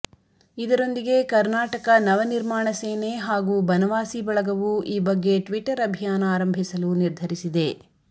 ಇದರೊಂದಿಗೆ ಕರ್ನಾಟಕ ನವ ನಿರ್ಮಾಣ ಸೇನೆ ಹಾಗೂ ಬನವಾಸಿ ಬಳಗವೂ ಈ ಬಗ್ಗೆ ಟ್ವಿಟರ್ ಅಭಿಯಾನ ಆರಂಭಿಸಲು ನಿರ್ಧರಿಸಿದೆ